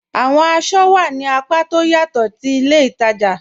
Awọn àṣọ wà ní àpá tó ọ̀ yatọ̀ ti ilẹ̀ ìtaja